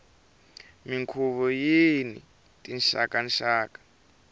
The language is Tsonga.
minkhuvo yini tinxaka nxaka